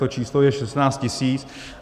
To číslo je 16 tisíc.